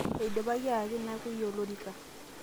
eidipaki ayaki nakuiyia olorrika